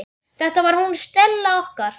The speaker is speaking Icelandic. Þetta var hún Stella okkar.